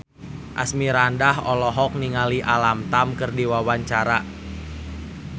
Asmirandah olohok ningali Alam Tam keur diwawancara